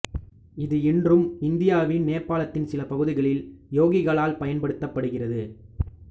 இது இன்று இந்தியா நேபாளத்தின் சில பகுதிகளில் யோகிகளால் பயன்படுத்தப்படுகிறது